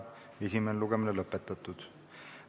Esimene lugemine on lõpetatud.